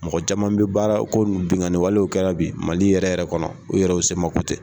Mɔgɔ caman bɛ baara ko nunnu bingani walew kɛra bi mali yɛrɛ yɛrɛ kɔnɔ o yɛrɛ u sema ko tɛ.